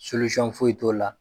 foyi t'o la